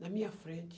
na minha frente.